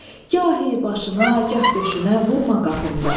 Gahi başına, gah döşünə vurma qapımda.